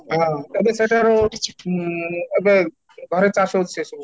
ହଁ, ଏବେ ସେଇଟାର କିଛି ଓଁ ଏବେ ଘରେ ଚାଷ ହେଉଛି ସେ ସବୁ